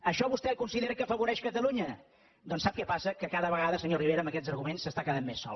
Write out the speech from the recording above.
això vostè considera que afavoreix catalunya doncs sap què passa que cada vegada senyor rivera amb aquests arguments s’està quedant més sol